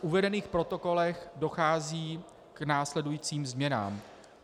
V uvedených protokolech dochází k následujícím změnám.